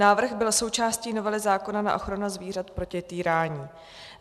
Návrh byl součástí novely zákona na ochranu zvířat proti týrání.